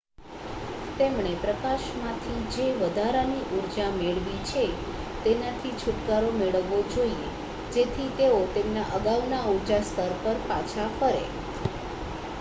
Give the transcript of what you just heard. તેમણે પ્રકાશમાંથી જે વધારાની ઊર્જા મેળવી છે તેનાથી છુટકારો મેળવવો જોઈએ જેથી તેઓ તેમના અગાઉના ઊર્જા સ્તર પર પાછા ફરે